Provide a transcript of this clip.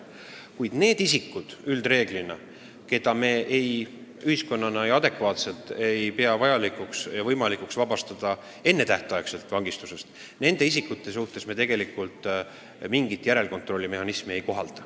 Kuid nende isikute suhtes, keda me ühiskonnana ei pea vajalikuks ega võimalikuks enne tähtaega vangistusest vabastada, me enamasti mingit järelkontrolli mehhanismi ei kohalda.